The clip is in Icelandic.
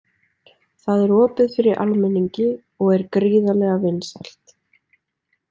Það er opið fyrir almenningi og er gríðarlega vinsælt.